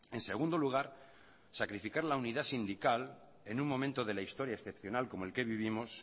en segundo lugar sacrificar la unidad sindical en un momento de la historia excepcional como el que vivimos